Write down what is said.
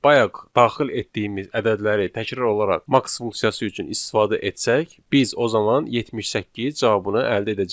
Bayaq daxil etdiyimiz ədədləri təkrar olaraq max funksiyası üçün istifadə etsək, biz o zaman 78 cavabını əldə edəcəyik.